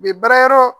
U bɛ baarayɔrɔ